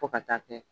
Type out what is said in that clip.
Fo ka taa kɛ